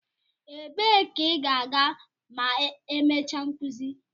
Ebee ka ị ga-aga ma emechaa nkuzi?